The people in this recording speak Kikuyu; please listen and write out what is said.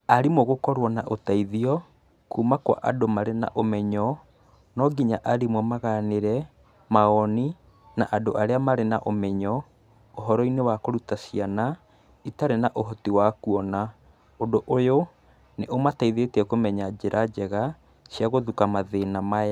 Arimũ gũkorwo na ũteithio, kuma kwa andũ marĩ na ũmenyo, no nginya arimũ maganĩre, mawoni, na andũ arĩa marĩ na ũmenyo, ũhoro-inĩ wa kũruta ciana, itarĩ na ũhoti wa kuona, ũndũ ũyũ, nĩ ũmateithĩtie kũmenya njĩra njega, cia gũthuka mathĩna maya.